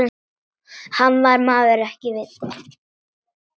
Hann var maður með viti.